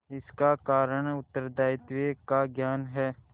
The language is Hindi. इसका कारण उत्तरदायित्व का ज्ञान है